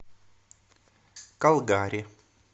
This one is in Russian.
калгари